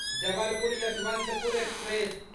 Jabalpur Yeshwantpur express